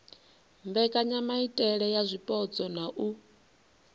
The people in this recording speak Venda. mbekanyamaitele ya zwipotso na u